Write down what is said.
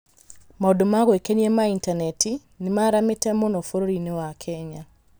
Maũndũ ma gwĩkenia ma intaneti nĩ maaramĩte mũno bũrũri-inĩ wa Kenya.